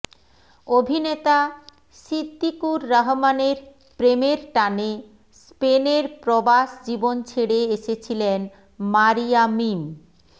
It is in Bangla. অভিনেতা সিদ্দিকুর রহমানের প্রেমের টানে স্পেনের প্রবাস জীবন ছেড়ে এসেছিলেন মারিয়া মিম